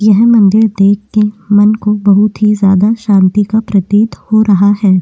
यह मंदिर देख के मन को बहौत ही ज्यादा शांति का प्रतीत हो रहा है।